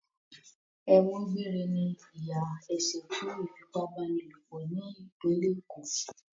Ẹ̀wọ̀n gbére ni ìyà ẹ̀ṣẹ̀ fún ìfipábánilòpọ̀ ní ìpínlẹ̀ Èkó.